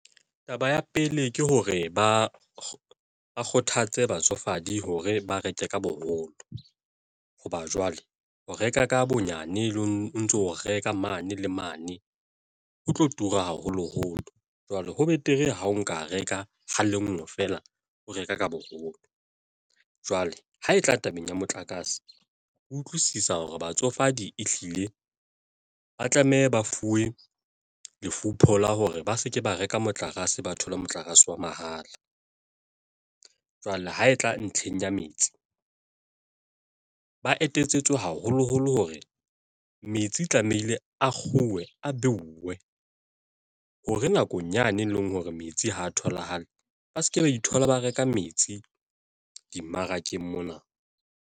Taba ya pele, ke hore ba kgothatse batsofadi hore ba reke ka boholo hoba jwale ho reka ka bonyane le o ntso reka mane le mane, ho tlo tura haholoholo jwale ho betere hao nka reka ha lengwe feela, o reka ka boholo. Jwale ha e tla tabeng ya motlakase o utlwisisa hore batsofadi ehlile ba tlameha ba fuwe la hore ba se ke ba reka motlakase, ba thole motlakase wa mahala. Jwale ha e tla ntlheng ya metsi, ba etsetswe haholoholo hore metsi tlamehile a kguwe a beuwe hore nakong yane e leng hore metsi ha tholahale ba se ke ba ithola ba reka metsi dimmarakeng mona.